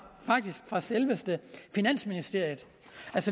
selve finansministeriet